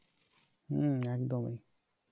হম একদমই